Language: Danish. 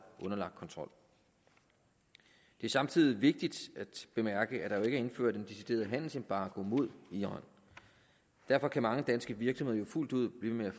underlagt kontrol det er samtidig vigtigt at bemærke at der er indført en decideret handelsembargo mod iran derfor kan mange danske virksomheder fuldt ud blive ved